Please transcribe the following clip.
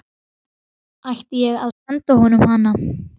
Átti ég að senda honum hana?